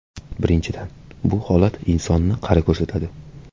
Birinchidan, bu holat insonni qari ko‘rsatadi.